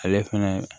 Ale fɛnɛ